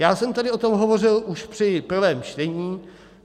Já jsem tady o tom hovořil už při prvém čtení.